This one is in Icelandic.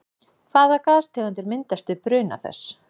Hvaða gastegundir myndast við bruna þess?